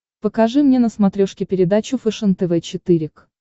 покажи мне на смотрешке передачу фэшен тв четыре к